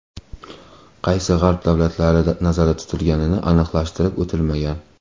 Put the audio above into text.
Qaysi G‘arb davlatlari nazarda tutilgani aniqlashtirib o‘tilmagan.